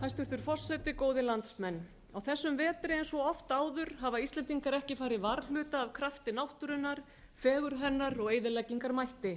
hæstvirtur forseti góðir landsmenn á þessum vetri eins og oft áður hafa íslendingar ekki farið varhluta af krafti náttúrunnar fegurð hennar og eyðileggingarmætti